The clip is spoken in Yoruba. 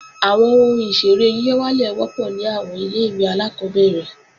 Àwọn ohun ìṣeré yíyọ̀wálè wọ́pọ̀ ní àwọn ilé-ìwé alákọ́bẹ̀rẹ̀